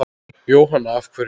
Jóhanna: Af hverju?